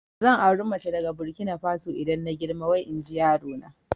Zan auri mace daga Burkina Faso idan na girma wai inji yarona